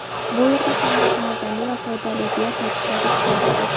Bu yerda hammasi mazali va foydali”, deya ta’kidladi sportchi.